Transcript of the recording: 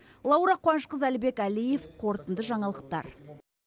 лаура қуанышқызы әлібек әлиев қорытынды жаңалықтар